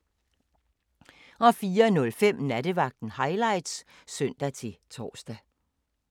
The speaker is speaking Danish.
04:05: Nattevagten Highlights (søn-tor)